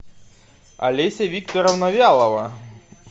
олеся викторовна вялова